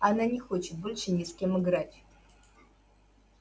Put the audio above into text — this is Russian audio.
она не хочет больше ни с кем играть